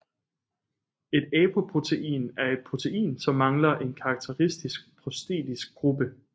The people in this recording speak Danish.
Et apoprotein er et protein som mangler en karakteristisk prostetisk gruppe